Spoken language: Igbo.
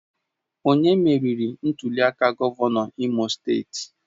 Onye meriri ntuliaka gọvanọ n'Imo steeti?